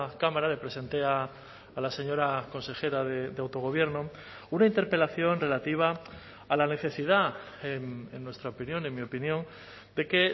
cámara le presenté a la señora consejera de autogobierno una interpelación relativa a la necesidad en nuestra opinión en mi opinión de que